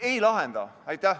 Ei lahenda.